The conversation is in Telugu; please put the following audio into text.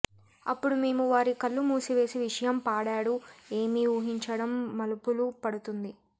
అప్పుడు మేము వారి కళ్ళు మూసివేసి విషయం పాడాడు ఏమి ఊహించడం మలుపులు పడుతుంది